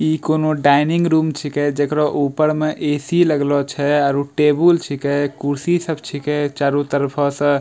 इ कोवनो dining room छीके जेकरो ऊपर में ए.सी. लगलो छै और टेबुल छीके कुर्सी सब छीके चारो तरफा से।